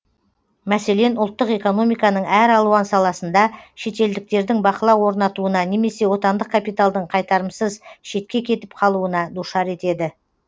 мәселен ұлттық экономиканың әр алуан саласында шетелдіктердің бақылау орнатуына немесе отандық капиталдың қайтарымсыз шетке кетіп қалуына душар етеді